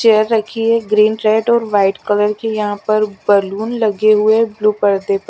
chair रखी है green red और वाईट कलर कि यहाँ पर बलून लगे हुए है ब्लू पर्दे पर--